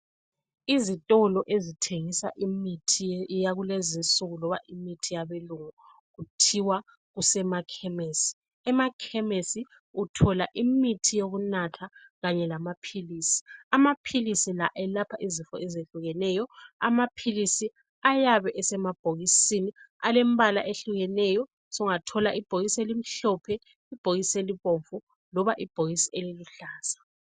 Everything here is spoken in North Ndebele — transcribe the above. Izitolo ezithengisa imithi yakulezi insuku loba imithi yabelungu kuthiwa kusemakhemisi emakhemisi uthola imithi yokunatha kanye lamapills amapills lawa ayelapha izifo ezehlukeneyo amapills ayabe esemabhokisini alembala ehlukeneyo ungathola ibhokisi elimhlophe ibhokisi elibomvu loba ibhokisi eliluhlaza